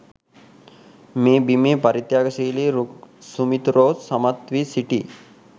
මේ බිමේ පරිත්‍යාගශීලි රුක් සුමිතුරෝ සමත් වී සිටි යි.